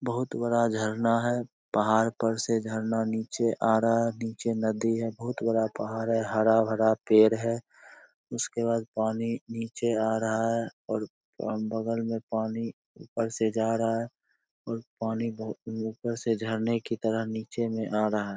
बहुत बड़ा झरना है पहाड़ पर से झरना नीचे आ रहा है नीचे नदी है बहुत बड़ा पहाड़ है हरा-भरा पेड़ है उसके बाद पानी नीचे आ रहा है और और बगल में पानी ऊपर से जा रहा है और पानी बहु ऊपर से झरने की तरह नीचे में आ रहा है।